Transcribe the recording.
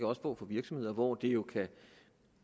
også få for virksomheder hvor det jo